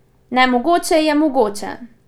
Nemogoče je mogoče!